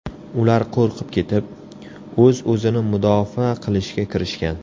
Ular qo‘rqib ketib, o‘z-o‘zini mudofaa qilishga kirishgan.